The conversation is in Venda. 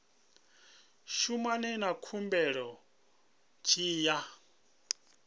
shumana na khumbelo tshi ya